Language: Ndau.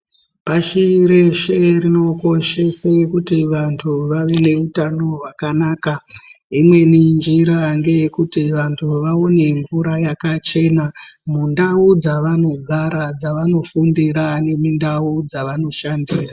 Pashi reshe rinokoshese kuti vantu vave neutano hwakanaka imweni njira ngeyekuti vantu vamwe mvura yakachena mundau dzavanogara, dzavanofundira nedzavanoshandira.